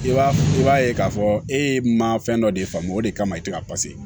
I b'a i b'a ye k'a fɔ e ma fɛn dɔ de faamu o de kama i te ka